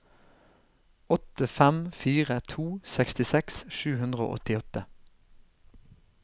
åtte fem fire to sekstiseks sju hundre og åttiåtte